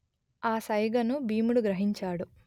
ఆ సైగను భీముడు గ్రహించాడు